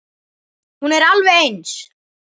Hún er alveg eins.